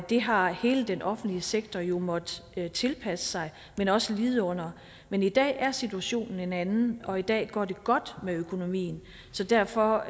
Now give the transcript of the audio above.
det har hele den offentlige sektor jo måttet tilpasse sig men også lide under men i dag er situationen en anden og i dag går det godt med økonomien så derfor